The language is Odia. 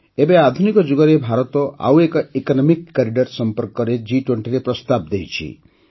ଏବେ ଆଧୁନିକ ଯୁଗରେ ଭାରତ ଆଉ ଏକ ଇକନମିକ୍ କରିଡର୍ ସମ୍ପର୍କରେ ଜି୨୦ରେ ପ୍ରସ୍ତାବ ଦେଇଛି